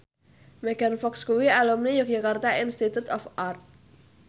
Megan Fox kuwi alumni Yogyakarta Institute of Art